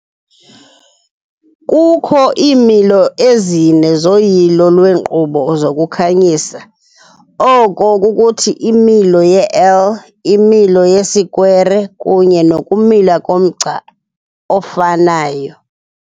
Kukho iimilo ezine zoyilo lweenkqubo zokukhanyisa, oko kukuthi imilo ye-L, imilo yesikwere, kunye nokumila komgca ofanayo.